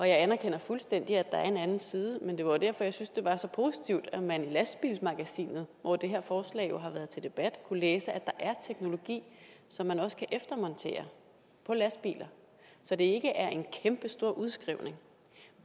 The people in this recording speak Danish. jeg anerkender fuldstændig at der er en anden side men det var jo derfor at jeg synes det var så positivt at man i lastbil magasinet hvor det her forslag jo har været til debat kunne læse at der er teknologi som man også kan eftermontere på lastbiler så det ikke er en kæmpe stor udskrivning